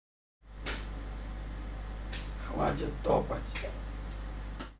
хватит топать